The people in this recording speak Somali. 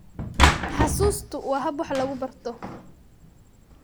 Xusuustu waa hab wax lagu barto.